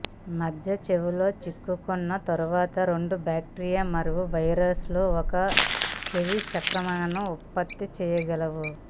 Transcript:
మధ్య చెవిలో చిక్కుకున్న తరువాత రెండు బాక్టీరియా మరియు వైరస్లు ఒక చెవి సంక్రమణను ఉత్పత్తి చేయగలవు